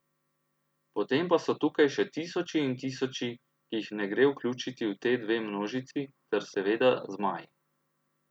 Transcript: Potem pa so tukaj še tisoči in tisoči, ki jih ne gre vključiti v te dve množici ter seveda zmaji.